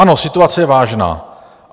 Ano, situace je vážná.